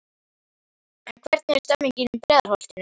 En hvernig er stemmningin í Breiðholtinu?